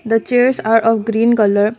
the chairs are of green colour.